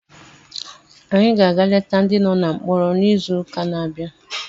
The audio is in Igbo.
Anyị ga-aga leta ndị nọ na mkpọrọ n'izuụka na-abịa